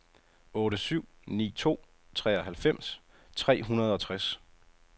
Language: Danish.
otte syv ni to treoghalvfems tre hundrede og tres